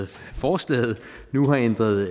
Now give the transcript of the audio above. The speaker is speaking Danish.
forslaget nu har ændret